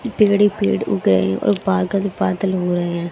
पेड़ ही पेड़ उगे हैं और पागल बादल हो रहे हैं।